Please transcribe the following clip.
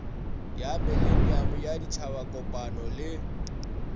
ya mileniamo ya ditšhabakopano le